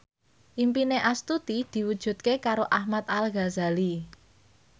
impine Astuti diwujudke karo Ahmad Al Ghazali